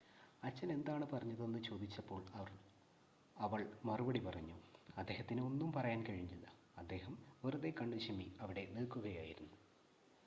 "അച്ഛൻ എന്താണ് പറഞ്ഞതെന്ന് ചോദിച്ചപ്പോൾ അവൾ മറുപടി പറഞ്ഞു "അദ്ദേഹത്തിന് ഒന്നും പറയാൻ കഴിഞ്ഞില്ല - അദ്ദേഹം വെറുതെ കണ്ണുചിമ്മി അവിടെ നിൽക്കുകയായിരുന്നു.""